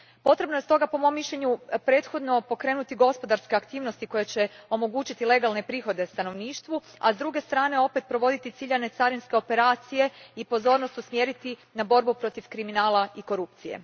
Potrebno je stoga, po mojem mišljenju, prethodno pokrenuti gospodarske aktivnosti koje će omogućiti legalne prihode stanovništvu, a s druge strane provoditi ciljane carinske operacije i pozornost usmjeriti na borbu protiv kriminala i korupcije.